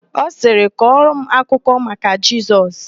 Ọ sirị, "kọrọ m akụkọ maka Jesus"!